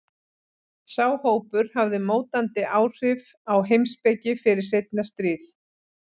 Sá hópur hafði mótandi áhrif á heimspeki fyrir seinna stríð.